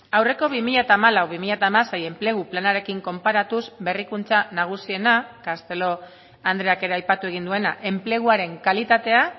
aurreko bi mila hamalau bi mila hamasei enplegu planarekin konparatuz berrikuntza nagusiena castelo andreak ere aipatu egin duena enpleguaren kalitatea